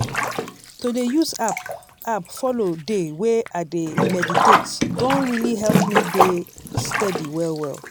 to dey use app app follow dey way i dey meditate don really help me dey steady well well.